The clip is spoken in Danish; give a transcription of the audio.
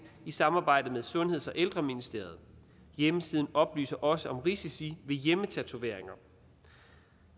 i samarbejde med sundheds og ældreministeriet hjemmesiden oplyser også om risici ved hjemmetatoveringer